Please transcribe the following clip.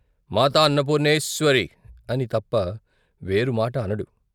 " మాతాన్నపూర్ణేశ్వరీ " అని తప్ప వేరు మాట అనడు.